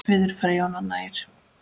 Auður Freyja og Nanna Eir.